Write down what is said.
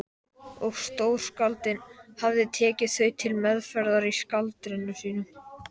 og stórskáldin hafa tekið þau til meðferðar í skáldritum sínum.